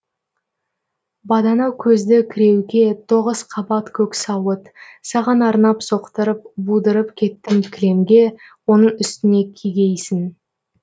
бадана көзді кіреуке тоғыз қабат көк сауыт саған арнап соқтырып будырып кеттім кілемге оны үстіңе кигейсің